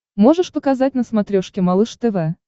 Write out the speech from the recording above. можешь показать на смотрешке малыш тв